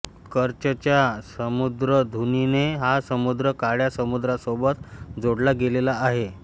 कर्चच्या सामुद्रधुनीने हा समुद्र काळ्या समुद्रासोबत जोडला गेलेला आहे